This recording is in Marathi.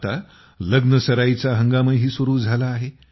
आता लग्नसराईचा हंगामही सुरू झाला आहे